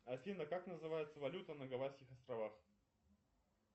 афина как называется валюта на гавайских островах